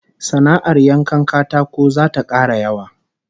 Sana'ar yankan katako zata kara yawa